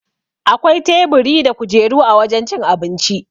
Akwai teburi da kujeru a wajan cin abinci